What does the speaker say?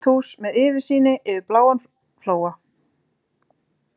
Hvítt hús með útsýni yfir bláan flóa.